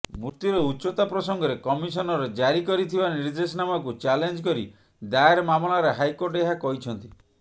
ମୃର୍ତ୍ତିର ଉଚ୍ଚତା ପ୍ରସଙ୍ଗରେ କମିଶନର ଜାରି କରିଥିବା ନିର୍ଦ୍ଦେଶାନାମାକୁ ଚ୍ୟାଲେଞ୍ଜ କରି ଦାୟର ମାମଲାରେ ହାଇକୋର୍ଟ ଏହା କହିଛନ୍ତି